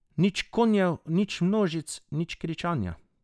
Nič konjev, nič množic, nič kričanja.